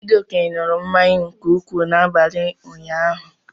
Chijioke ṅụrụ mmanya nke ukwuu n'abalị ụnyaahụ